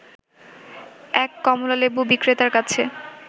এক কমলালেবু বিক্রেতার কাছে